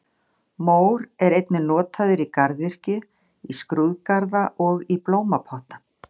Mór er einnig notaður í garðyrkju, í skrúðgarða og í blómapotta.